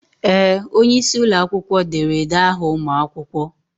Ee! Onye isi ụlọ akwụkwọ derede aha ụmụ akwụkwọ.